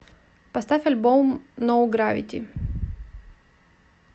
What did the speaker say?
поставь альбом но гравити